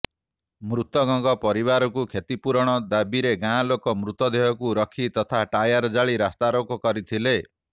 ମୃତକଙ୍କ ପରିବାରକୁ କ୍ଷତିପୂରଣ ଦାବିରେ ଗାଁ ଲୋକେ ମୃତଦେହକୁ ରଖି ତଥା ଟାୟାର ଜାଳି ରାସ୍ତାରୋକ କରିଥିଲେ